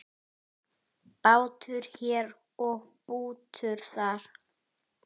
Bútur hér og bútur þar.